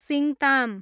Singtam